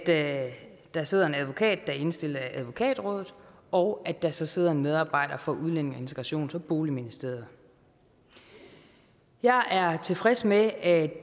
at der sidder en advokat der er indstillet af advokatrådet og at der så sidder en medarbejder fra udlændinge integrations og boligministeriet jeg er tilfreds med at